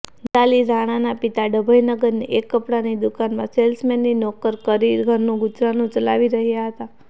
નિરાલી રાણાના પિતા ડભોઇનગરની એક કપડાની દુકાનમાં સેલ્સમેનની નોકર કરી ઘરનું ગુજરાન ચલાવી રહ્યા હતા